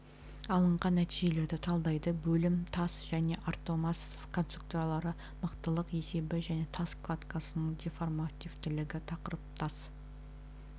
алынған нәтижелерді талдайды бөлім тас және армотас конструкциялары мықтылық есебі және тас кладкасының деформативтілігі тақырып тас